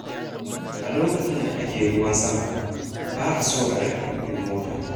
A lokacin da ake ruwan sama, ba a so a riƙa tuƙin mota.